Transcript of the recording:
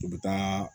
U bɛ taa